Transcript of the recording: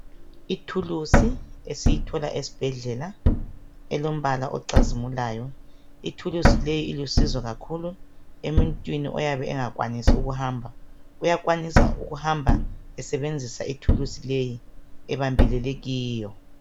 Ithulusi esiyithola esbhedlela elombala ocazimulayo. Ithulusi leyi ilusizo kakhulu emuntwini oyabe engakwanisi ukuhamba. Uyakwanisa ukuhamba esebenzisa ithulusi leyi, ebambelele kiyo.